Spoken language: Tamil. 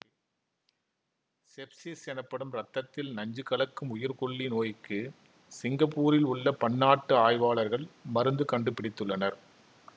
செப்சிஸ் எனப்படும் இரத்தத்தில் நஞ்சு கலக்கும் உயிர்க்கொல்லி நோய்க்கு சிங்கப்பூரில் உள்ள பன்னாட்டு ஆய்வாளர்கள் மருந்து கண்டுபிடித்துள்ளனர்